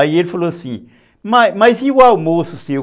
Aí ele falou assim, mas mas e o almoço seu?